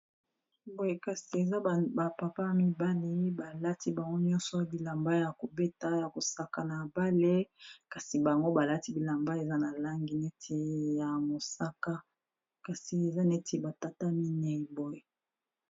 Boye kasi eza ba papa ya mibali balati bango nyonso bilamba ya kobeta ya kosaka na bale kasi bango balati bilamba eza na langi neti ya mosaka, kasi eza neti batata minei boy.